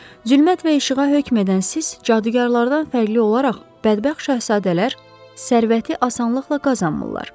Zülmət və işığa hökm edən siz cadugarlardan fərqli olaraq, bədbəxt şahzadələr sərvəti asanlıqla qazanmırlar.